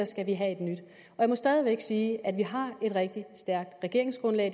skal have et nyt jeg må stadig væk sige at vi har et rigtig stærkt regeringsgrundlag